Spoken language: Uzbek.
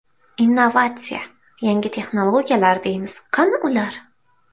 Innovatsiya, yangi texnologiyalar deymiz, qani ular?